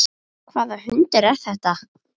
Hvaða hundur er þetta?